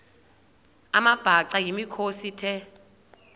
amabhaca yimikhosi the